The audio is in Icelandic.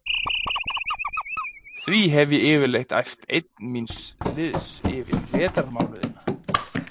Því hef ég yfirleitt æft einn míns liðs yfir vetrarmánuðina.